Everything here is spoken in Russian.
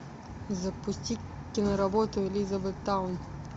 запусти киноработу элизабеттаун